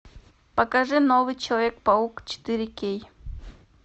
покажи новый человек паук четыре кей